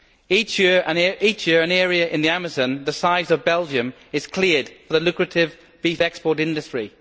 Each year, an area in the Amazon the size of Belgium is cleared for the lucrative beef export industry.